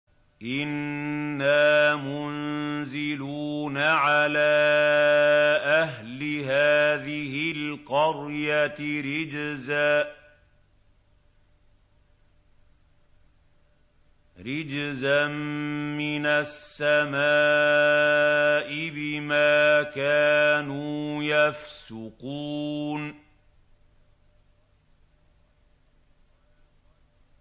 إِنَّا مُنزِلُونَ عَلَىٰ أَهْلِ هَٰذِهِ الْقَرْيَةِ رِجْزًا مِّنَ السَّمَاءِ بِمَا كَانُوا يَفْسُقُونَ